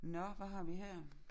Nå hvad har vi her?